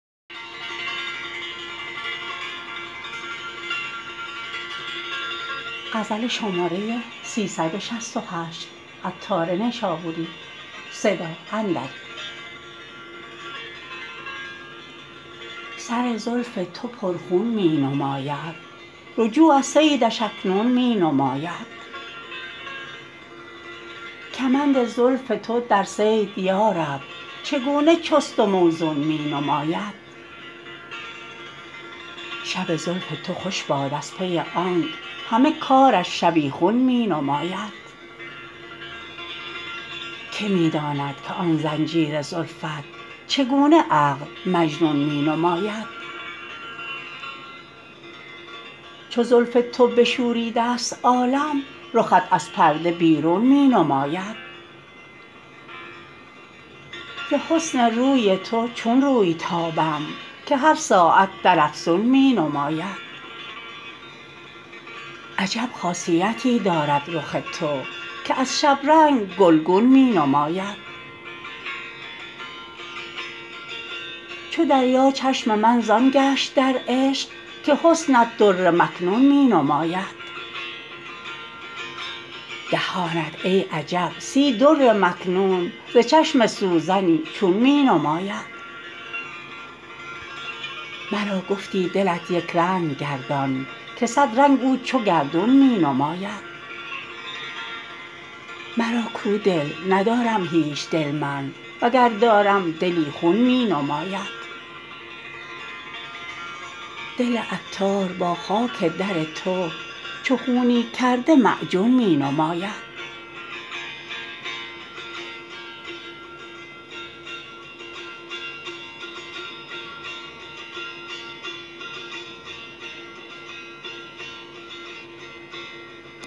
سر زلف تو پر خون می نماید رجوع از صیدش اکنون می نماید کمند زلف تو در صید یارب چگونه چست و موزون می نماید شب زلف تو خوش باد از پی آنک همه کارش شبیخون می نماید که می داند که آن زنجیر زلفت چگونه عقل مجنون می نماید چو زلف تو بشوریده است عالم رخت از پرده بیرون می نماید ز حسن روی تو چون روی تابم که هر ساعت در افزون می نماید عجب خاصیتی دارد رخ تو که از شبرنگ گلگون می نماید چو دریا چشم من زان گشت در عشق که درجت در مکنون می نماید دهانت ای عجب سی در مکنون ز چشم سوزنی چون می نماید مرا گفتی دلت یکرنگ گردان که صد رنگ او چو گردون می نماید مرا کو دل ندارم هیچ دل من وگر دارم دلی خون می نماید دل عطار با خاک در تو چو خونی کرده معجون می نماید